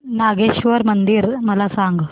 नागेश्वर मंदिर मला सांग